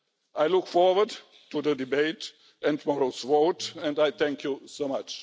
I look forward to the debate and to tomorrow's vote, and I thank you so much.